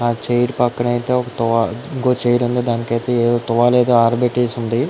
ఆ చైర్ పక్కన అయితే ఇంకో చైర్ ఉంది దానికైతే ఒక తువ్వల ఏదో ఆరబెట్టేసి ఉన్నది.